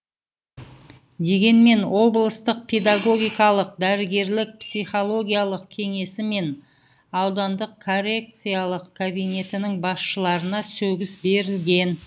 дегенмен облыстық педагогикалық дәрігерлік психологиялық кеңесі мен аудандық коррекциялық кабинетінің басшыларына сөгіс берілген